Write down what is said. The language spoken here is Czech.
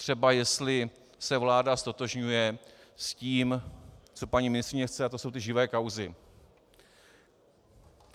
Třeba jestli se vláda ztotožňuje s tím, co paní ministryně chce, a to jsou ty živé kauzy.